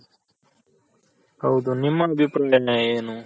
ಹೌದು ನಿಮ್ ಅಭಿಪ್ರಾಯ ಏನು